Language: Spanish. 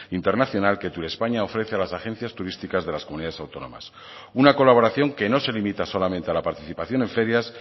internacional que turespaña ofrece a las agencias turísticas de las comunidades autónomas una colaboración que no se limita solamente a la participación en ferias